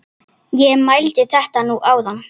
Ég mældi þetta nú áðan.